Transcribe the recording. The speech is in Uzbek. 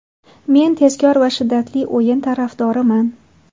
Men tezkor va shiddatli o‘yin tarafdoriman.